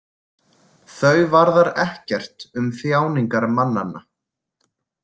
Þau varðar ekkert um þjáningar mannanna.